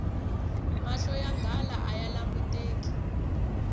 mahlo ya nghala aya languteki